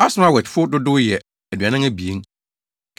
Asmawetfo dodow yɛ 2 42 1